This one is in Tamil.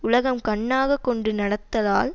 உலகம் கண்ணாக கொண்டு நடத்தலால்